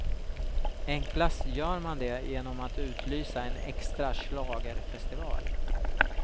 Enklast gör man det genom att utlysa en extra schlagerfestival.